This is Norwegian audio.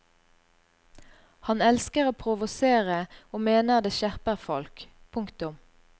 Han elsker å provosere og mener det skjerper folk. punktum